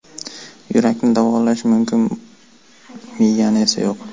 Yurakni davolash mumkin, miyani esa yo‘q.